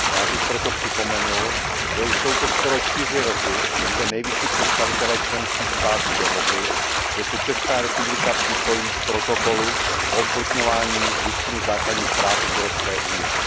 Rád bych proto připomenul, že už jsou to skoro čtyři roky, co se nejvyšší představitelé členských států dohodli, že se Česká republika připojí k protokolu o uplatňování Listiny základních práv Evropské unie.